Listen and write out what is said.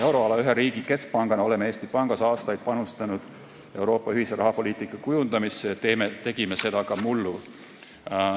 Euroala ühe riigi keskpangana oleme Eesti Pangas aastaid panustanud Euroopa ühise rahapoliitika kujundamisse ja tegime seda ka mullu.